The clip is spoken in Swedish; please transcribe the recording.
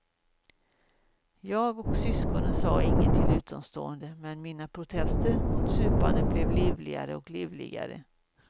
Jag och syskonen sa inget till utomstående, men mina protester mot supandet blev livligare och livligare.